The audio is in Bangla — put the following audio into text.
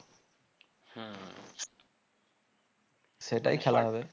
সেটাই খেলা হবে